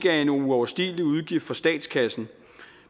er en uoverstigelig udgift for statskassen